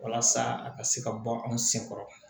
Walasa a ka se ka bɔ anw sen kɔrɔ